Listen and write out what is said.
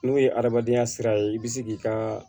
N'o ye hadamadenya sira ye i bɛ se k'i ka